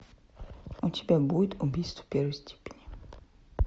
у тебя будет убийство первой степени